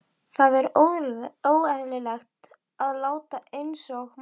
Það er óeðlilegt að láta einsog maður sé ekki til.